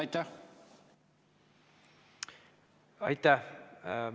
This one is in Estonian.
Aitäh!